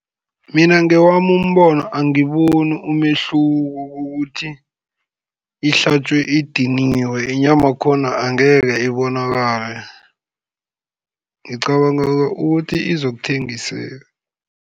Mina ngewami umbono angiboni umehluko kokuthi, ihlatjwe idiniwe, inyama khona angeke ibonakale, ngicabanga ukuthi izokuthengiseka.